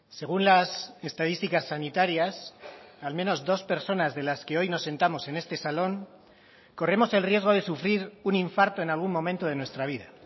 según las estadísticas sanitarias al menos dos personas de las que hoy nos sentamos en este salón corremos el riesgo de sufrir un infarto en algún momento de nuestra vida